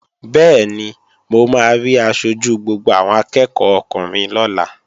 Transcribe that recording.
Bẹ́ẹ̀ni, mo máa rí aṣojú gbogbo àwọn akẹ́ẹ̀kọ́ ọkùnrin lọ́la